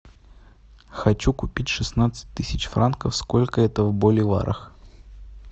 хочу купить шестнадцать тысяч франков сколько это в боливарах